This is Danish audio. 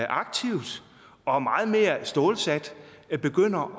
aktivt og meget mere stålsat begynder